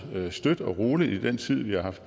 støt og roligt i den tid vi har haft